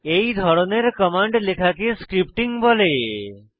এই ধরনের কমান্ড লেখাকে স্ক্রিপ্টিং স্ক্রিপ্টিং বলে